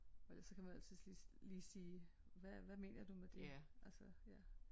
Og ellers så kan man altid lige sige hvad mener du med det altså ja